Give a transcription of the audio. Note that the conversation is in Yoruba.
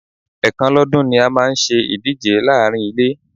Ẹ̀kan lọ́dún ni a máa ń ṣe ìdíje láàárín ilé.